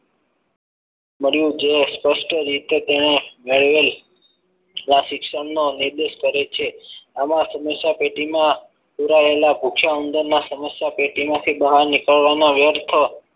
મળ્યું જે સ્પષ્ટ રીતે તેણે નિર્દેશ કરે છે આમાં સમસ્યા પેટીમાં પુરાયેલા ભૂખ્યા ઉંદરના સમસ્યા પેટીમાંથી બહાર નીકળવાના વ્યર્થ